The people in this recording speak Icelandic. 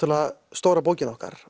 stóra bókin okkar